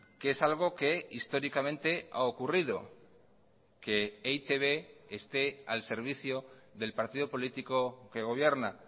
que es algo que históricamente a ocurrido que e i te be esté al servicio del partido político que gobierna